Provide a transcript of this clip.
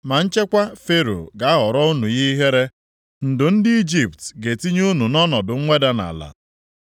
Ma nchekwa Fero ga-aghọrọ unu ihe ihere, ndo ndị Ijipt ga-etinye unu nʼọnọdụ mweda nʼala.